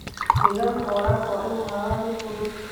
Nidaamka waraabka waa inuu ahaadaa mid fudud.